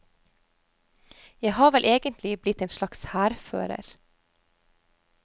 Jeg har vel egentlig blitt en slags hærfører.